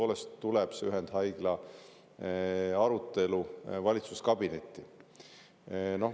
Lähikuudel tuleb see ühendhaigla arutelu tõepoolest valitsuskabinetti.